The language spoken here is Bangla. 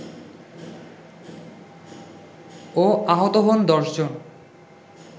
ও আহত হন ১০ জন